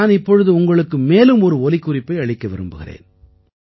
நான் இப்பொழுது உங்களுக்கு மேலும் ஒரு ஒலிக்குறிப்பை அளிக்க விரும்புகிறேன்